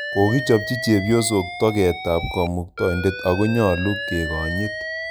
Kokichopchi chepyosok toget ap Kamutaindet ako nyalu kekonyit